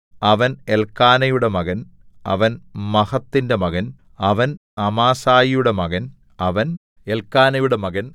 അവൻ എല്ക്കാനയുടെ മകൻ അവൻ മഹത്തിന്റെ മകൻ അവൻ അമാസായിയുടെ മകൻ അവൻ എല്ക്കാനയുടെ മകൻ